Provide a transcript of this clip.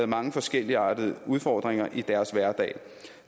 mange forskelligartede udfordringer i deres hverdag